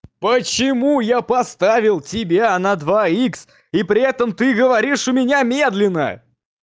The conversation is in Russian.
почему я поставил тебя на два икс и при этом ты говоришь у меня медленно